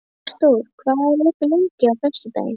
Ásdór, hvað er opið lengi á föstudaginn?